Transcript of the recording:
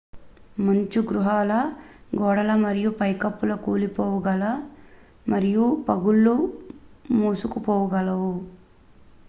మంచు గుహల గోడలు మరియు పైకప్పులు కూలిపోగలవు మరియు పగుళ్లు మూసుకుపోగలవు